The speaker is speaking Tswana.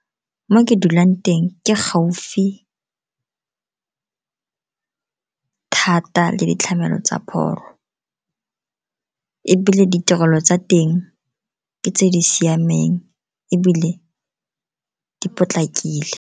Mo ke dulang teng ke gaufi thata le ditlhamelo tsa pholo, ebile ditirelo tsa teng ke tse di siameng ebile di potlakile.